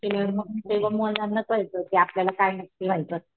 केल्यावर तेव्हा मुलांना कळत कि आपल्याला काय नक्की व्हायचं असत.